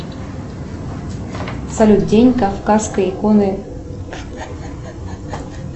салют день кавказской иконы